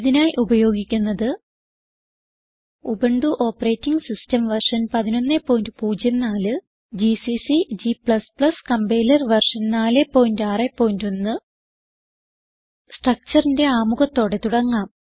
ഇതിനായി ഉപയോഗിക്കുന്നത് Ubuntu operating system version 1104 GCC g compiler version 461 Structureന്റെ ആമുഖത്തോടെ തുടങ്ങാം